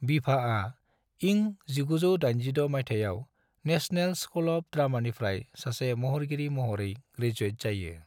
बिभाआ इं 1986 माइथायाव national school of द्रामानिफ्राय सासे महरगिरि महरै ग्रेजुयेट जायो।